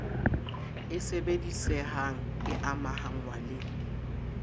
e sebedisehang e amahngwa le